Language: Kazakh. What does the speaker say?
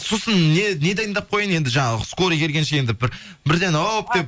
сосын не дайындап қояйын енді жаңағы скорый келгенше енді бір бірден әуіп деп